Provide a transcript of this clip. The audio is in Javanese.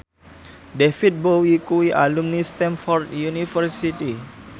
David Bowie kuwi alumni Stamford University